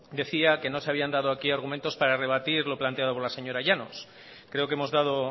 decía que no se habían dado aquí argumentos para rebatir los planteado por la señora llanos creo que hemos dado